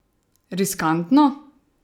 Riskantno?